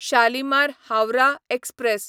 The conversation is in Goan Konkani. शालिमार हावराह एक्सप्रॅस